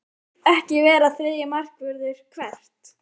Vill ekki vera þriðji markvörður Hvert?